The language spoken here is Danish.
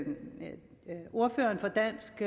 ordføreren for dansk